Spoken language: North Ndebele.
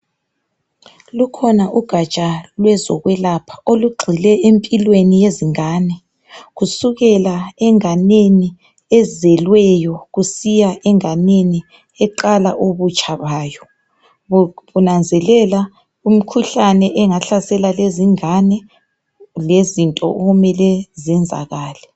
Lukhona kugatsha lwezokwelapha olugxile empilweni yezingane kusukela enganeni ezelweyo kusiya enganeni eqala ubutsha bayo. Kunanzelelwa imkhuhlane engahlasela lezingane lezinto okumele zenzakale.